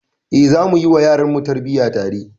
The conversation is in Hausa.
Eh, zamu yi wa yaranmu tarbiyya tare.